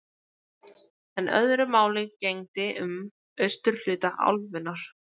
En öðru máli gegndi um austurhluta álfunnar.